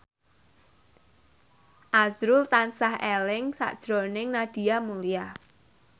azrul tansah eling sakjroning Nadia Mulya